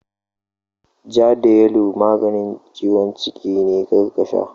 Ja da yalo maganin ciwon ciki ne, kar ka sha!